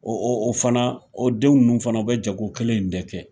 o fana, o den nunnu fana, u bɛ jago kelen in de kɛ.